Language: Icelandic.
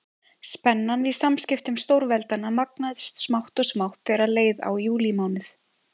Spennan í samskiptum stórveldanna magnaðist smátt og smátt þegar leið á júlímánuð.